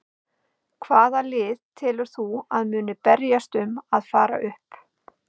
Hvaða lið telur þú að muni berjast um að fara upp?